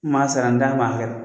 N tun m'a sara n tɛ n ban a bɛɛ man.